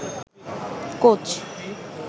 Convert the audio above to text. coach